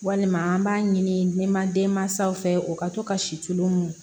Walima an b'a ɲinima denmansaw fɛ o ka to ka si tulon